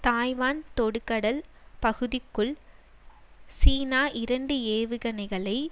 Taiwan தொடுகடல் பகுதிக்குள் China இரண்டு ஏவுகணைகளை